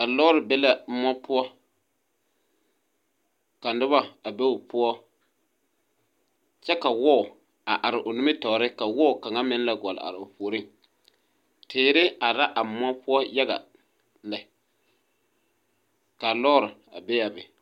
A lɔre be la moɔ poɔ ka noba a be o poɔ kyɛ ka wɔɔ a are o nimitoore ka wɔɔ kaŋa meŋ la gɔlle aroo puoriŋ teere are la a moɔ poɔ yaga lɛ kaa lɔɔre a be a be.